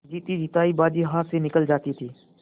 जीतीजितायी बाजी हाथ से निकली जाती थी